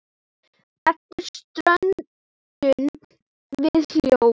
Eftir stöndum við hljóð.